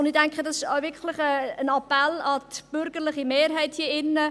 Ich denke, dies ist wirklich ein Appell an die bürgerliche Mehrheit hier drin.